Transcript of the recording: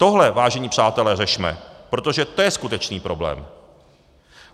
Tohle, vážení přátelé, řešme, protože to je skutečný problém.